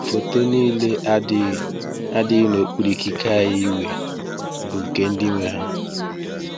Foto niile adịghị adịghị n’okpuru ikike anyị wee bụ nke ndị nwe ha.